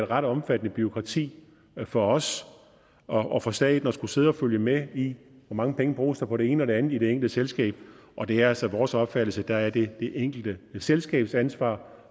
ret omfattende bureaukrati for os og for staten at skulle sidde og følge med i hvor mange penge der bruges på det ene og det andet i det enkelte selskab og det er altså vores opfattelse at der er det det enkelte selskabs ansvar